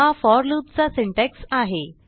हा for loop चा syntax आहे